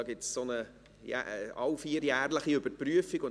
Es findet alle vier Jahre eine Überprüfung statt.